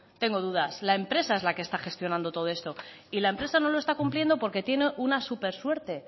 tengo dudas la empresa es la que está gestionando todo esto y la empresa no lo está cumpliendo porque tiene una súper suerte